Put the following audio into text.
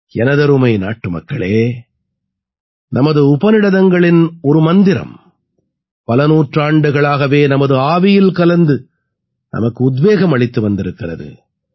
எனதருமை நாட்டுமக்களே நமது உபநிடதங்களின் ஒரு மந்திரம் பல நூற்றாண்டுகளாகவே நமது ஆவியில் கலந்து நமக்கு உத்வேகம் அளித்து வந்திருக்கிறது